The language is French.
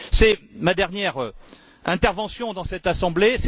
C'est ma dernière intervention devant cette Assemblée.